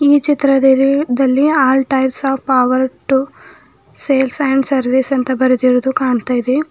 ಈ ಚಿತ್ರದಲ್ಲಿ all types of power tool sales and service ಅಂತ ಬರೆದಿರುವುದು ಕಾಣ್ತಾಯಿದೆ.